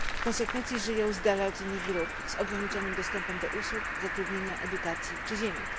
W konsekwencji żyją z dala od innych grup, z ograniczonym dostępem do usług, zatrudnienia, edukacji czy ziemi.